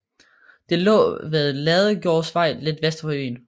Det lå ved Ladegårdsvej lidt vest for byen